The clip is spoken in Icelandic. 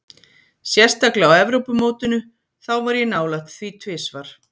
Sérstaklega á Evrópumótinu, þá var ég nálægt því tvisvar.